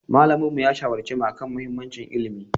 Malaminmu ya shawarce mu a kan mahimmancin ilimi.